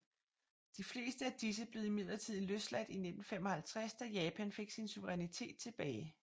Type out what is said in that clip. De fleste af disse blev imidlertid løsladt i 1955 da Japan fik sin suverænitet tilbage